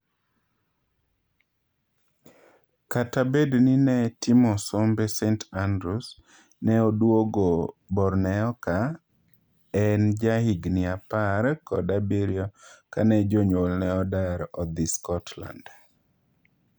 Kata bedni ne timo sombe St.Andrews, ne oduogo Borneoka en ja higni apar kod abirio kane jonyuolne odar odhii Scotland.